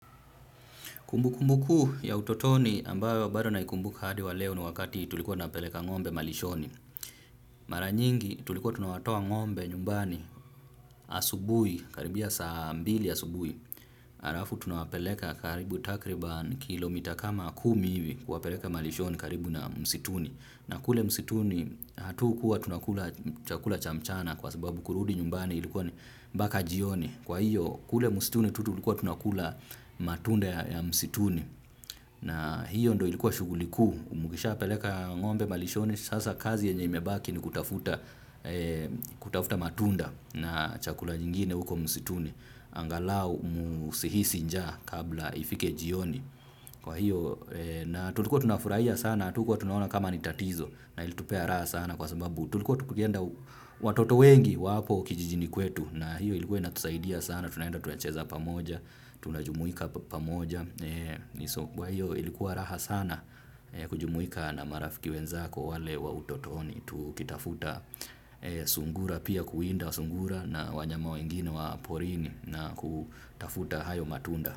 Kumbukumbu kuu ya utotoni ambayo bado naikumbuka hadi wa leo na wakati tulikuwa napeleka ngo'mbe malishoni. Maranyingi tulikuwa tunawatoa ngombe nyumbani asubui, karibia saa mbili asubui. Arafu tunawapeleka karibu takriban kilomita kama kumi hivi kuwapeleka malishoni karibu na msituni. Na kule msituni hatu kuwa tunakula chakula chamchana kwa sababu kurudi nyumbani ilikuwa baka jioni. Kwa hiyo kule msituni tutu ulikuwa tunakula matunda ya msituni na hiyo ndo ilikuwa shughuli kuu umugisha peleka ng'ombe malishoni sasa kazi yenye imebaki ni kutafuta matunda na chakula nyingine uko msituni angalau musihisi njaa kabla ifike jioni. Kwa hiyo na tulikuwa tunafurahia sana, tukwa tunaona kama ni tatizo na ilitupea raha sana kwasababu. Tulikuwa tukienda watoto wengi waapo kijijini kwetu na hiyo ilikuwa na tusaidia sana, tunaenda tuwacheza pamoja, tunajumuika pamoja. Kwa hiyo ilikuwa raha sana kujumuika na marafiki wenzako wale wa utotoni. Tukitafuta sungura pia kuinda wa sungura na wanyama wengine wa porini na kutafuta hayo matunda.